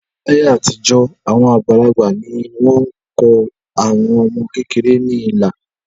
Láyé àtijọ́, àwọn àgbàlagbà ni wọ́n kọ àwọn ọmọ kéékèèké ní ilà